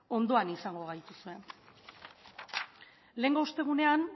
ondoan izango gaituzue lehengo ostegunean